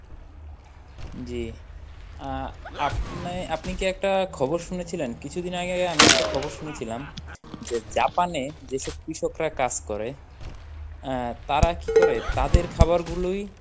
জী আহ আপনে আপনি কি একটা খবর শুনেছিলেন? কিছু দিন আগেই আমি একটা খবর শুনেছিলাম যে জাপানে যেসব কৃষকরা কাজ করে আহ তারা কি করে তাদের খাবার গুলোই